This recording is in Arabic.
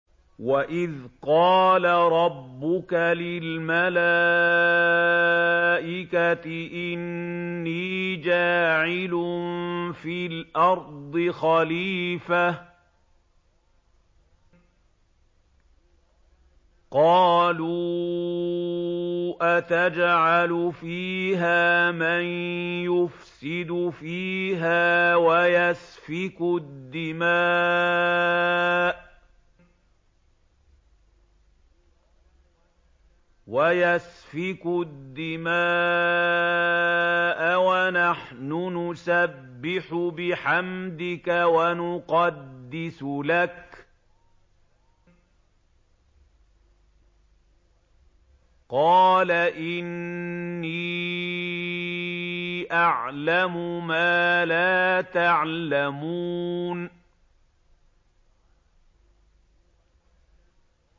وَإِذْ قَالَ رَبُّكَ لِلْمَلَائِكَةِ إِنِّي جَاعِلٌ فِي الْأَرْضِ خَلِيفَةً ۖ قَالُوا أَتَجْعَلُ فِيهَا مَن يُفْسِدُ فِيهَا وَيَسْفِكُ الدِّمَاءَ وَنَحْنُ نُسَبِّحُ بِحَمْدِكَ وَنُقَدِّسُ لَكَ ۖ قَالَ إِنِّي أَعْلَمُ مَا لَا تَعْلَمُونَ